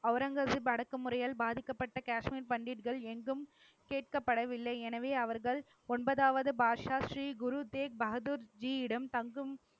அவுரங்கசீப் அடக்கு முறையால் பாதிக்கப்பட்ட காஷ்மீர் பண்டிட்கள் எங்கும் கேட்கப்படவில்லை. எனவே அவர்கள் ஒன்பதாவது பாட்ஷா ஸ்ரீ குரு தேக் பகதூர் ஜீயிடம், தங்கும்